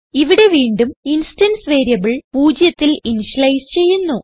ഇവിടെ വീണ്ടും instance variable പൂജ്യത്തിൽ ഇനിഷ്യലൈസ് ചെയ്യുന്നു